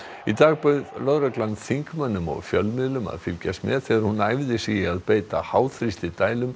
í dag bauð lögreglan þingmönnum og fjölmiðlum að fylgjast með þegar hún æfði sig í því að beita